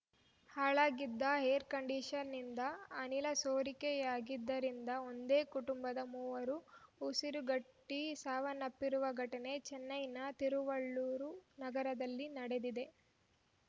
ಹಾಳಾಗಿದ್ದ air condition ನಿಂದ ಅನಿಲ ಸೋರಿಕೆಯಾಗಿದ್ದರಿಂದ ಒಂದೇ ಕುಟುಂಬದ ಮೂವರು ಉಸಿರುಗಟ್ಟಿಸಾವನ್ನಪ್ಪಿರುವ ಘಟನೆ ಚೆನ್ನೈನ ತಿರುವಲ್ಲೂರು ನಗರದಲ್ಲಿ ನಡೆದಿದೆ